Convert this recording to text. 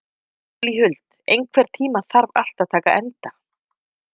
Júlíhuld, einhvern tímann þarf allt að taka enda.